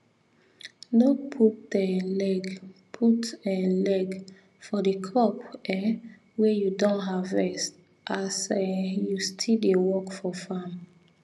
no put um leg put um leg for the crop um wey you don harvest as um you still dey work for farm